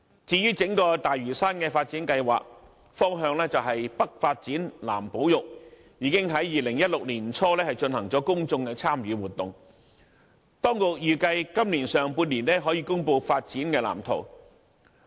至於整個大嶼山"北發展南保育"的發展方向，已於2016年年初進行公眾參與活動；當局預計今年上半年可以公布發展藍圖。